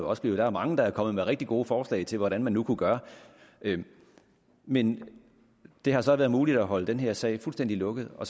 også blevet der er mange der er kommet med rigtig gode forslag til hvad man nu kunne gøre men det har så været muligt at holde den her sag fuldstændig lukket og